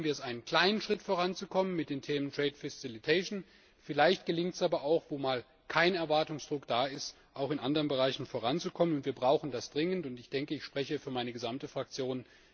Vielleicht schaffen wir es, einen kleinen Schritt voranzukommen mit dem Thema trade facilitation vielleicht gelingt es aber auch wo mal kein Erwartungsdruck da ist in anderen Bereichen voranzukommen. Wir brauchen das dringend! Ich denke, ich spreche für meine gesamte Fraktion.